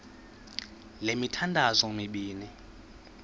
le mithandazo mibini